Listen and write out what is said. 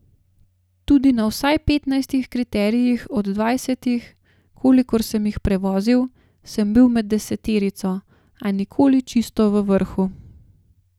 Tudi na vsaj petnajstih kriterijih od dvajsetih, kolikor sem jih prevozil, sem bil med deseterico, a nikoli čisto v vrhu.